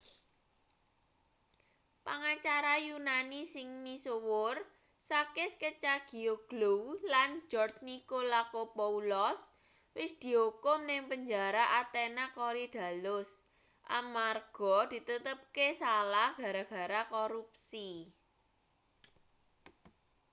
pangacara yunani sing misuwur sakis kechagioglou lan george nikolakopoulos wis diukum ning penjara athena korydallus amarga ditetepke salah gara-gara korupsi